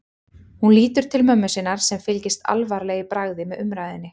Hún lítur til mömmu sinnar sem fylgist alvarleg í bragði með umræðunni.